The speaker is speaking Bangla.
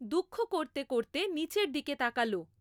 দুঃখ করতে করতে নীচের দিকে তাকালো।